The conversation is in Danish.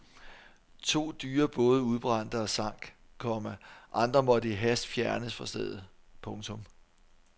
To dyre både udbrændte og sank, komma andre måtte i hast fjernes fra stedet. punktum